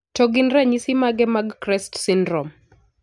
To gin ranyisi mage mag CREST syndrome?